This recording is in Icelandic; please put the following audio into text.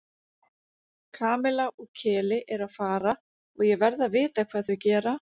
Kamilla og Keli eru að fara og ég verð að vita hvað þau gera